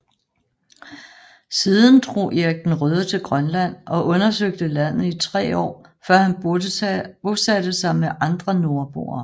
Siden drog Erik den Røde til Grønland og undersøgte landet i tre år før han bosatte sig med andre nordboere